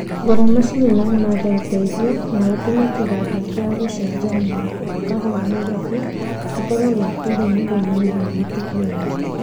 Gũra macini na umathe ũteithio, na ũtũme kĩganda kĩa ucenjania wa kahũa Nairobi gĩkorwo kĩa kĩĩrĩu nĩguo mawĩra marutĩke wega